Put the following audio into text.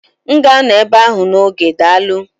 M ga-anọ ebe ahụ n'oge, daalụ